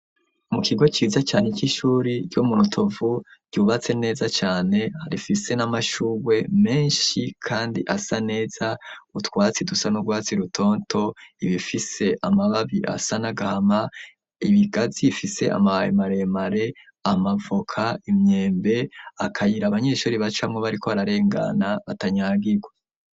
Mu kigo ciza cane c'ishure co mu Rutovu ryubatse neza cane rifise n'amashurwe menshi kandi asa neza, utwatsi dusa n'urwatsi rutoto, ibifise amababi asa n'agahama, ibigazi bifise amababai maremere, amavoka, imyembe, akayira abanyeshure bacamwo bariko bararengana batanyagirwa.